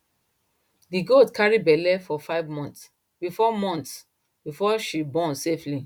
the goat carry belle for five months before months before she born safely